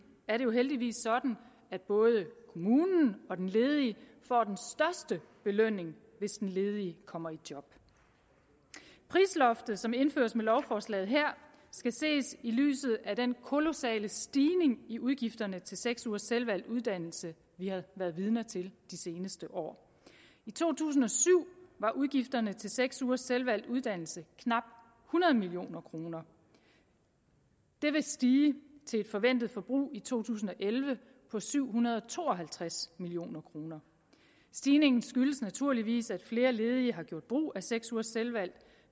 er det jo heldigvis sådan at både kommunen og den ledige får den største belønning hvis den ledige kommer i job prisloftet som indføres med lovforslaget her skal ses i lyset af den kolossale stigning i udgifterne til seks ugers selvvalgt uddannelse vi har været vidne til de seneste år i to tusind og syv var udgifterne til seks ugers selvvalgt uddannelse knap hundrede million kroner det vil stige til et forventet forbrug i to tusind og elleve på syv hundrede og to og halvtreds million kroner stigningen skyldes naturligvis at flere ledige har gjort brug af seks ugers selvvalgt